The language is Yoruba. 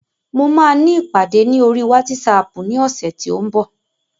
Mo máa ní ìpàdé ní oríi wátísapù ní ọ̀sẹ̀ tí ó ń bọ̀